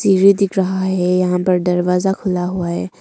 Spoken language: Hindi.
सीढ़ी दिख रहा है यहां पर दरवाजा खुला हुआ है।